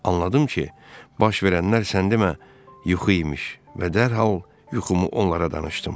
Anladım ki, baş verənlər sən demə yuxu imiş və dərhal yuxumu onlara danışdım.